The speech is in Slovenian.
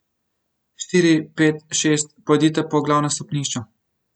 Štiri, pet, šest, pojdite po glavnem stopnišču.